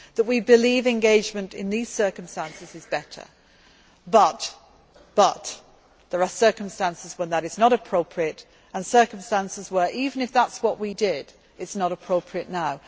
that we believe engagement in these circumstances is better, but there are circumstances when that is not appropriate and circumstances where, even if that is what we did, it is not appropriate now.